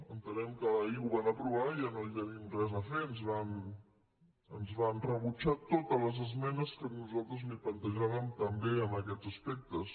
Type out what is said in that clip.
entenem que ahir ho van aprovar i ja no hi tenim res a fer ens van rebutjar totes les esmenes que nosaltres li plantejàvem també en aquests aspectes